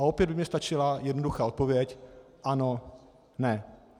A opět by mně stačila jednoduchá odpověď ano, ne.